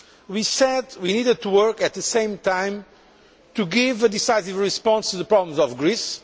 We said we needed to work, at the same time, to give a decisive response to the problems in Greece